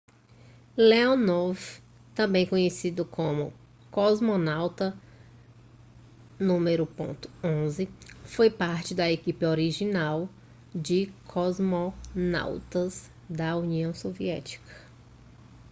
leonov também conhecido como cosmonauta no 11 foi parte da equipe original de cosmonautas da união soviética